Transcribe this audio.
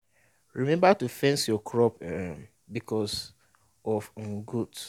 remember to fence your crop um because of um goat